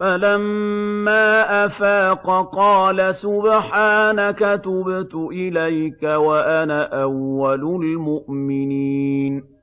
فَلَمَّا أَفَاقَ قَالَ سُبْحَانَكَ تُبْتُ إِلَيْكَ وَأَنَا أَوَّلُ الْمُؤْمِنِينَ